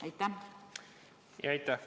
Aitäh!